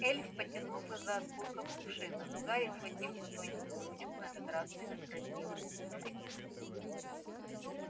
эльф потянулся за осколком кувшина но гарри схватив его тоненькую ручку на этот раз предотвратил экзекуцию